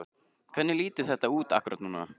Hvernig lítur þetta út akkúrat núna?